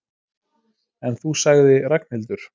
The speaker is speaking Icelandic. En þú sagði Ragnhildur.